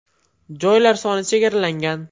Joylar soni chegaralangan.